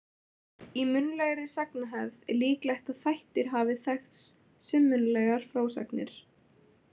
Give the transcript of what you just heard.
Í munnlegri sagnahefð er líklegt að þættir hafi þekkst sem munnlegar frásagnir.